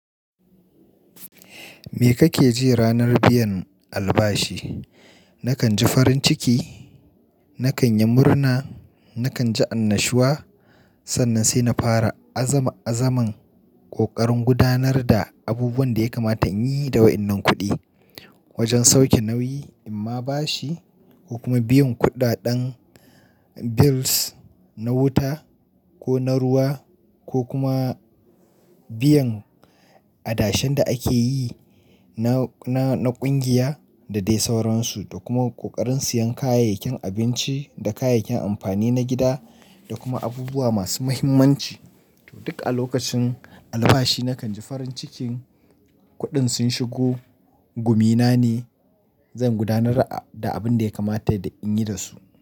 Me kake ji ranar biyan albashi? Nakan ji farin ciki, nakan yi murna, nakan ji annashuwa, sannan sai na fara azama-azaman ƙoƙarin gudanar da abubuwan da ya kamata in yi da wa'innan kuɗi wajen sauke nauyi in ma bashi ko kuma biyan kuɗaɗen bills na wuta ko na ruwa ko kuma biyan adashen da ake yi na, na, na ƙungiya da dai sauransu da kuma ƙoƙarin siyan kayayyakin abinci da kayayyakin amfani na gida da kuma abubuwa masu muhimmanci. Toh, duk a lokacin albashi nakan ji farin cikin kuɗin sun shigo, gumina ne zan gudanar da abin da ya kamata in yi da su.